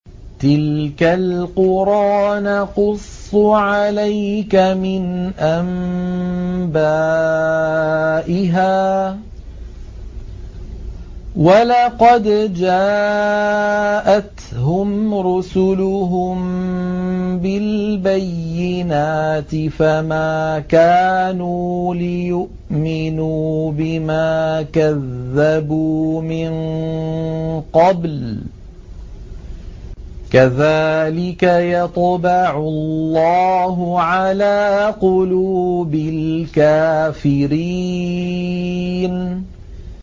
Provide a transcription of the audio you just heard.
تِلْكَ الْقُرَىٰ نَقُصُّ عَلَيْكَ مِنْ أَنبَائِهَا ۚ وَلَقَدْ جَاءَتْهُمْ رُسُلُهُم بِالْبَيِّنَاتِ فَمَا كَانُوا لِيُؤْمِنُوا بِمَا كَذَّبُوا مِن قَبْلُ ۚ كَذَٰلِكَ يَطْبَعُ اللَّهُ عَلَىٰ قُلُوبِ الْكَافِرِينَ